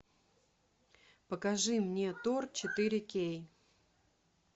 покажи мне тор четыре кей